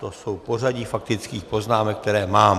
To je pořadí faktických poznámek, které mám.